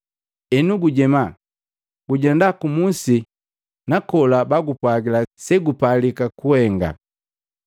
Enu gujema, gujenda ku musi nakola bakupwagila segupalika kuhenga.”